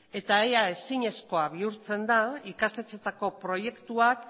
eta ia ezinezkoa bihurtzen da ikastetxeetako proiektuak